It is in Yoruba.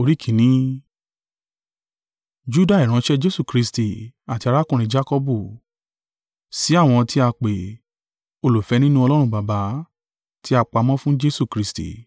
Juda, ìránṣẹ́ Jesu Kristi àti arákùnrin Jakọbu, Sí àwọn tí a pè, olùfẹ́ nínú Ọlọ́run Baba, tí a pamọ́ fún Jesu Kristi: